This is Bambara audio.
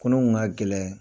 Kunun kun ka gɛlɛn.